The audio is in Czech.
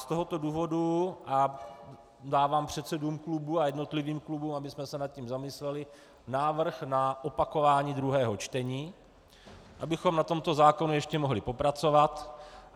Z tohoto důvodu dávám předsedům klubů a jednotlivým klubům, abychom se nad tím zamysleli, návrh na opakování druhého čtení, abychom na tomto zákonu ještě mohli popracovat.